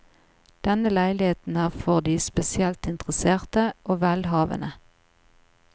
Denne leiligheten er for de spesielt interesserte og velhavende.